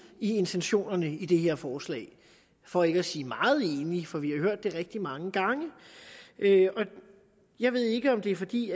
i intentionerne i det her forslag for ikke at sige meget enig for vi har hørt det rigtig mange gange jeg ved ikke om det er fordi